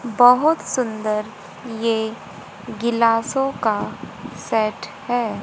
बहोत सुंदर ये गिलासों का सेट है।